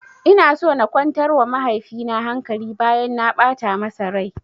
Ina so na kwantar wa mahaifi na hankali bayan na ɓata masa rai